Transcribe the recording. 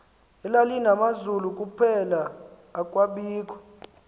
elalinamazulu kuphela akwabikho